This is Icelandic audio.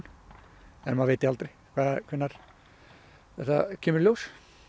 en maður veit aldrei hvenær þetta kemur í ljós